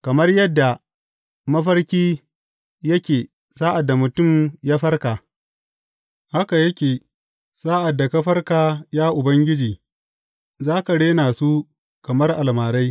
Kamar yadda mafarki yake sa’ad da mutum ya farka, haka yake sa’ad da ka farka, ya Ubangiji, za ka rena su kamar almarai.